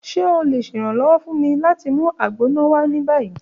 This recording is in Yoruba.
Ṣe o le ṣe iranlọwọ fun mi lati mu Agbona wa ni bayi?